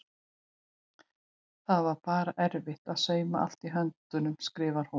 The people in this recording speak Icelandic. Það var bara erfitt að sauma allt í höndunum skrifar hún.